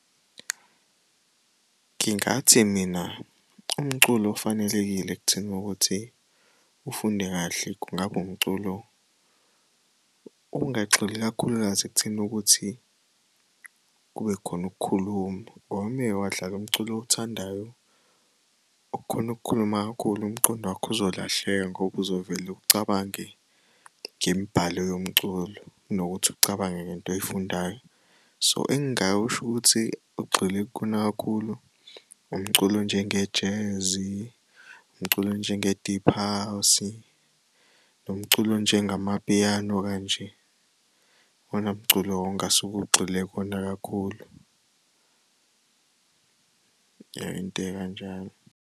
Ngingathi mina umculo ofanelekile ekutheni ukuthi ufunde kahle kungaba umculo ongagxili ikakhulukazi ekutheni ukuthi kube khona ukukhuluma, ngoba umuke wadlala umculo owuthandayo, okhona ukukhuluma kakhulu umqondo wakho uzolahleka ngoba uzovele ucabange ngemibhalo yomculo kunokuthi ucabange ngento oyifundayo. So, engingakusho ukuthi ugxile kukona kakhulu umculo onjenge-jazz, umculo onjenge-deep house, nomculo onjengamapiyano kanje. Iwona mculo ongasuke ugxile kuwona kakhulu, ya into ekanjalo.